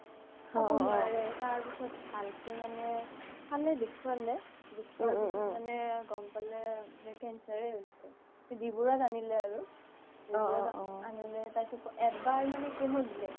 খাব নুৱাৰে তাৰ পিছ্ত ভালকে মানে চালে দেখুৱালে মানে গ্'ম পালে যে cancer হৈছে বি বৰুৱাত আনিলে আৰু বৰুৱাত আনিলে তাৰ পিছ্ত এবাৰ মানে chemo দিলে